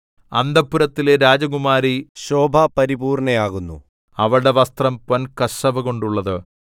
അന്തഃപുരത്തിലെ രാജകുമാരി ശോഭാപരിപൂർണ്ണയാകുന്നു അവളുടെ വസ്ത്രം പൊൻകസവുകൊണ്ടുള്ളത്